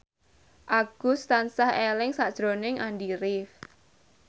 Agus tansah eling sakjroning Andy rif